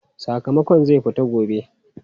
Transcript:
Sakamakon zai fito gobe.